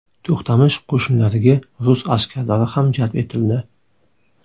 To‘xtamish qo‘shinlariga rus askarlari ham jalb etildi.